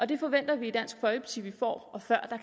det forventer vi